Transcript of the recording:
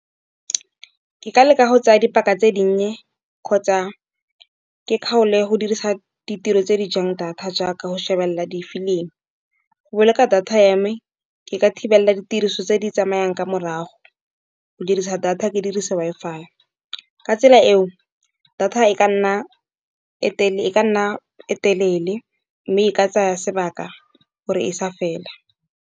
Ke ka leka go tsaya dipaka tse dinnye, kgotsa ke kgale go dirisa ditiro tse di jang data, jaaka go shebelela difilimi. Go boloka data ya me ke ka thibela ditiriso tse di tsamayang ka morago, o dirisa data ke dirisa Wi-Fi. Ka tsela eo data e ka nna e telele, mme e ka tsaya sebaka gore e sa fela.